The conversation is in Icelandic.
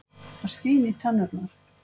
Það skín í tennurnar.